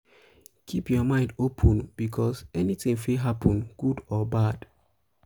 keep your mind open because anything fit happen good or bad